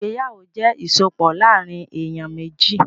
Ìgbéyàwó jẹ́ ìsopọ̀ láàrín èyàn méjì.